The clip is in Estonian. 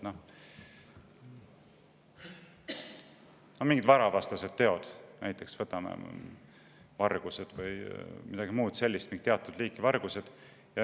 No mingid varavastased teod, näiteks vargused või midagi muud sellist, mingid teatud liiki vargused.